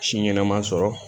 Si ɲɛnaman sɔrɔ